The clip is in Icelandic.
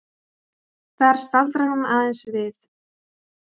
Þar staldrar hún aðeins við.